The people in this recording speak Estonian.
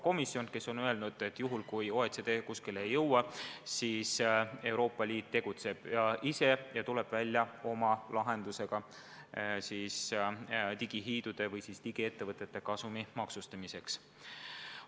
Komisjon on öelnud, et kui OECD kuskile ei jõua, siis Euroopa Liit tegutseb ise ja tuleb välja oma lahendusega digihiidude või digiettevõtete kasumi maksustamiseks.